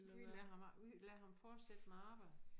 Vi lader ham vi lader ham fortsætte med arbejdet